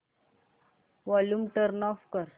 volume turn off कर